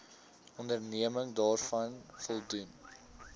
onderneming daaraan voldoen